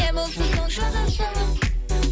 не болса соны жаза салып